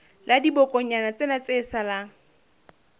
la dibokonyana tsena tse salang